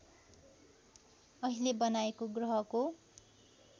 अहिले बनाइएको ग्रहको